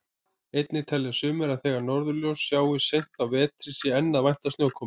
Einnig telja sumir að þegar norðurljós sjáist seint á vetri sé enn að vænta snjókomu.